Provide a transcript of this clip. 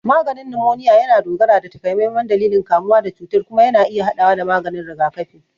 Maganin numoniya yana dogara da takamaiman dalilin kamuwa da cutar kuma yana iya haɗawa da maganin rigakafi.